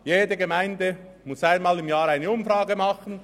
Jede Gemeinde muss einmal im Jahr eine Umfrage machen.